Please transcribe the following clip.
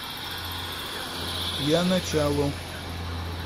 я начало